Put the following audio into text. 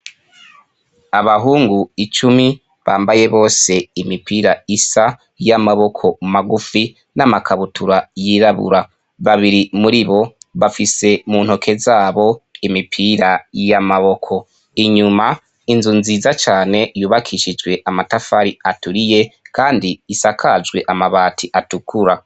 Abahungu icumi bambaye bose imipira isa y'amaboko magufi n'amakabutura y'irabura. Babiri muri bo bafise mu ntoke zabo imipira y'amaboko. Inyuma, inzu nziza cane yubakishijwe amatafari aturiye kandi isakajwe amabati atukura.